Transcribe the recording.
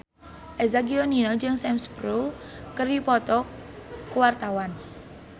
Eza Gionino jeung Sam Spruell keur dipoto ku wartawan